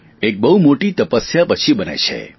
એક બહુ મોટી તપસ્યા પછી બને છે